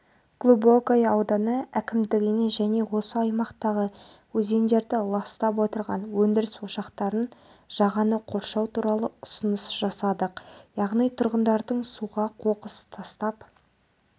глубокое ауданы әкімдігіне және осы аймақтағы өзендерді ластап отырған өндіріс ошақтарын жағаны қоршау туралы ұсыныс жасадық яғни тұрғындардың суға қоқыс тастап